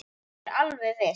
Ég er alveg viss.